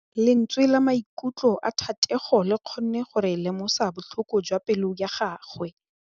Lentswe la maikutlo a Thategô le kgonne gore re lemosa botlhoko jwa pelô ya gagwe.